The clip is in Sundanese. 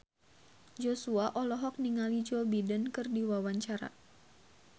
Joshua olohok ningali Joe Biden keur diwawancara